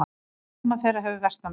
Afkoma þeirra hefur versnað mjög.